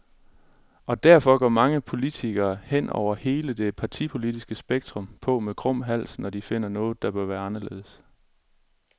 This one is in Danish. Og derfor går mange politikere, hen over hele det partipolitiske spektrum, på med krum hals, når de finder noget, der bør være anderledes.